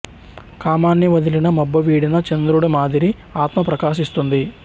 కామాన్ని వదిలిన మబ్బు వీడిన చంద్రుడి మాదిరి ఆత్మ ప్రకాశిస్తుంది